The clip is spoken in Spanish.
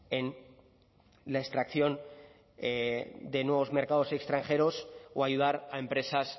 en la extracción de nuevos mercados extranjeros o ayudar a empresas